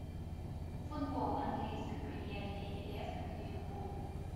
футбол английской премьер лиги лестер ливерпуль